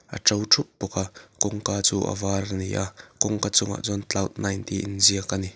a ṭo ṭhup bawk a kawngka chu a var a ni a kawngka chungah chuan cloud nine tih inziak a ni.